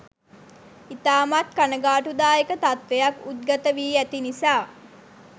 ඉතාමත් කණගාටු දායක තත්වයක් උද්ගත වී ඇති නිසා